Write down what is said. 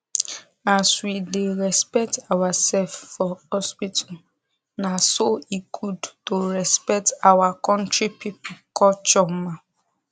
as we da respect ourself for hospital na so e good to respect our country people culture ma